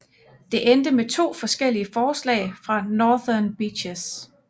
Det endte med to forskellige forslag for Northern Beaches